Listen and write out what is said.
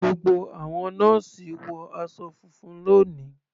Gbogbo àwọn nọ́ọ́sì wọ aṣọ funfun lóni.